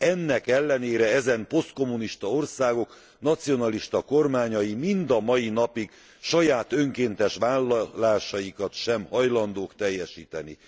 Ennek ellenére ezen posztkommunista országok nacionalista kormányai mind a mai napig saját önkéntes vállalásaikat sem hajlandók teljesíteni.